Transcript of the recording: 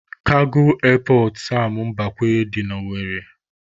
Kago Erpọt Sam Mbakwe dị na Owere